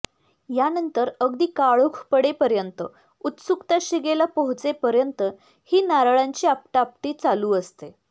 यानंतर अगदी काळोख पडेपर्यंत उत्सुकता शिगेला पोहोचेपर्यंत ही नारळांची आपटा आपटी चालू असते